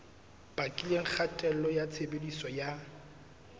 bakileng kgatello ya tshebediso ya